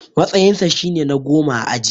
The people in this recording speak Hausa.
Matsayinsa shine na goma a aji.